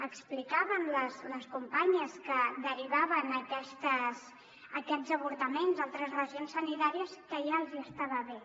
explicaven les compa·nyes que derivaven aquests avortaments a altres regions sanitàries que ja els hi esta·va bé